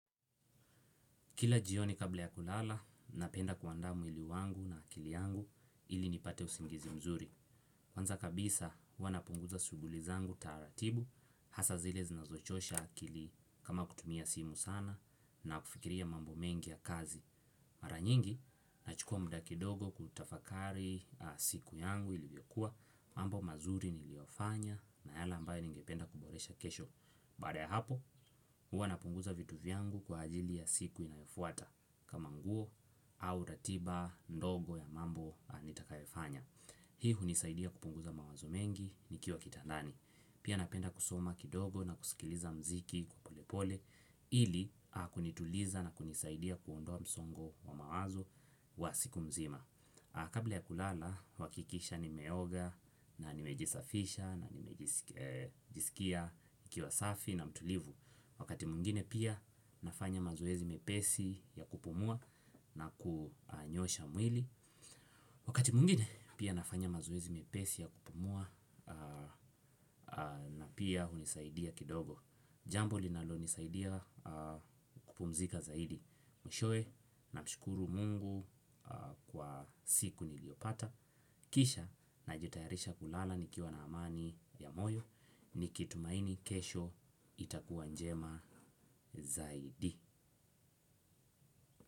Kila jioni kabla ya kulala, napenda kuandaa mwili wangu na akili yangu ili nipate usingizi mzuri. Kwanza kabisa, huwa napunguza shughuli zangu taratibu, hasa zile zinazochosha akili kama kutumia simu sana na kufikiria mambo mengi ya kazi. Mara nyingi, nachukua muda kidogo kutafakari siku yangu ilivyokua, mambo mazuri niliyofanya na yale ambayo ningependa kuboresha kesho. Baada ya hapo, huwa napunguza vitu vyangu kwa ajili ya siku inayofuata. Kama nguo au ratiba ndogo ya mambo nitakayofanya. Hii hunisaidia kupunguza mawazo mengi nikiwa kitandani. Pia napenda kusoma kidogo na kusikiliza muziki kwa polepole ili kunituliza na kunisaidia kuondoa msongo wa mawazo wa siku mzima. Kabla ya kulala huhakikisha nimeoga na nimejisafisha na nimejisikia nikiwa safi na mtulivu. Wakati mwingine pia nafanya mazoezi mepesi ya kupumua na kunyosha mwili. Wakati mwingine pia nafanya mazoezi mepesi ya kupumua na pia hunisaidia kidogo. Jambo linalonisaidia kupumzika zaidi. Mwishowe namshukuru mungu kwa siku niliyopata. Kisha najitayarisha kulala nikiwa na amani ya moyo nikitumaini kesho itakuwa njema zaidi.